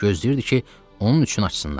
Gözləyirdi ki, onun üçün açsınlar.